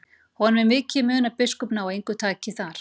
Honum er mikið í mun að biskup nái engu taki þar.